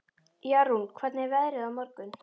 Jarún, hvernig er veðrið á morgun?